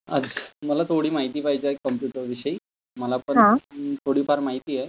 आज मला थोडी माहिती पाहिजे आहे कम्प्युटरविषयी? मला पण थोडी फार माहिती आहे.